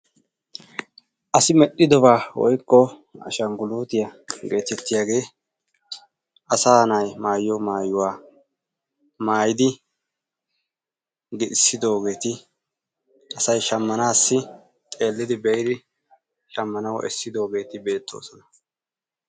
Asi meddhdhidobaa woykko ashangguluutiya geetettiyage asaa na"ayi maayiyo maayuwa maayidi giixissidoogeeti asayi shammanaassi xeellidi be"idi shammanawu essidoogeeti beettoosona.